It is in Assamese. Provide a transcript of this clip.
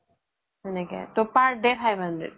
তেনেকে ত per day five hundred